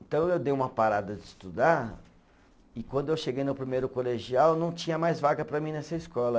Então eu dei uma parada de estudar e quando eu cheguei no primeiro colegial, não tinha mais vaga para mim nessa escola.